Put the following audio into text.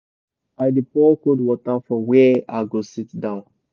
i dey pour cold water for where i go sit down